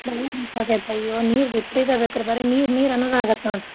ಹ್ಮ್ ನೀರ್ ವಿಪ್ರೀತ ಬೇಕ್ರಿ ಬರೀ ನೀರ್ ನೀರ್ ಅನ್ನೋದ ಆಗುತ್ ನೋಡ್ರಿ.